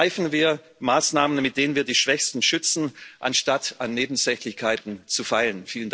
Ergreifen wir Maßnahmen, mit denen wir die Schwächsten schützen, anstatt an Nebensächlichkeiten zu feilen.